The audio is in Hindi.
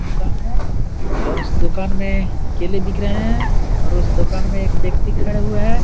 दुकान है और उस दुकान में केले बिक रहे हैं और उस दुकान में एक व्यक्ति खड़े हुए हैं ।